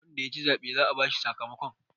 wanda ya ci zaɓe za a bashi sakamakon